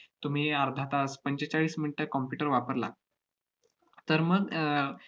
तुम्ही अर्धा तास, पंचेचाळीस minutes computer वापरला, तर मग अह